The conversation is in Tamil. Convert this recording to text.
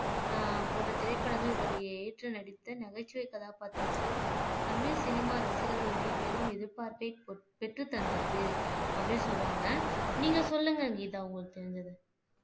அஹ் போன்ற திரைப்படங்களை ஏற்று நடித்த நகைச்சுவை கதாபாத்திரத்தில் தமிழ் சினிமா ரசிகர்களிடையே பெரும் எதிர்பார்ப்பை பெற்று தந்திருக்கு அப்படின்னு சொல்றாங்க நீங்க சொல்லுங்க கீதா உங்களுக்கு தெரிஞ்சது